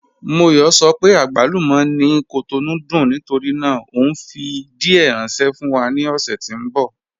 Móyọ̀ sọ pé àgbálúmọ̀ ni Cotonou dùn nítorí náà o nfi díẹ̀ ránṣẹ̀ fún wa ni ọ̀ṣẹ̀ tí n bọ.